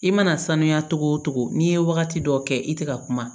I mana sanuya togo togo n'i ye wagati dɔ kɛ i te ka kuma